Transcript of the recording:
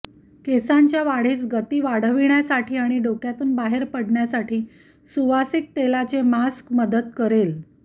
केसांच्या वाढीस गति वाढवण्यासाठी आणि डोक्यातून बाहेर पडण्यासाठी सुवासिक तेलाने मास्क मदत करेल